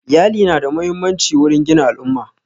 Iyali na da muhimmanci wurin gina al'umma